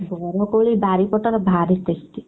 ବରକୋଳି ବାରିପଟର ଭାରୀ tasty